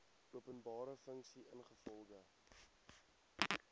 openbare funksie ingevolge